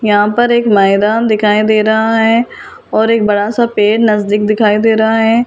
यहां पर एक मैदान दिखाई दे रहा हैं और एक बड़ा-सा पेड़ नजदीक दिखाई दे रहा है फिर --